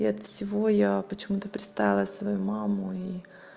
и от всего я почему-то представила свою маму и